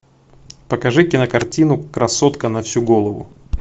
покажи кинокартину красотка на всю голову